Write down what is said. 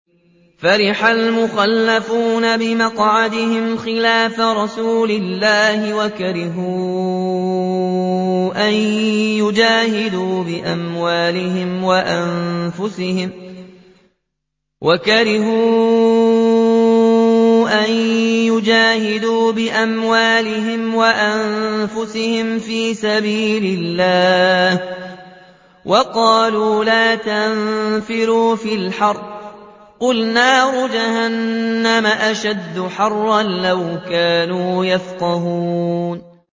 فَرِحَ الْمُخَلَّفُونَ بِمَقْعَدِهِمْ خِلَافَ رَسُولِ اللَّهِ وَكَرِهُوا أَن يُجَاهِدُوا بِأَمْوَالِهِمْ وَأَنفُسِهِمْ فِي سَبِيلِ اللَّهِ وَقَالُوا لَا تَنفِرُوا فِي الْحَرِّ ۗ قُلْ نَارُ جَهَنَّمَ أَشَدُّ حَرًّا ۚ لَّوْ كَانُوا يَفْقَهُونَ